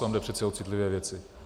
Tam jde přeci o citlivé věci.